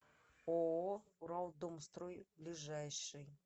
ооо уралдомстрой ближайший